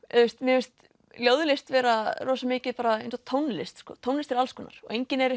mér finnst ljóðlist vera rosa mikið eins og tónlist tónlist er alls konar og enginn er